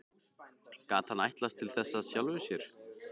Gat hann ætlast til þess af sjálfum sér?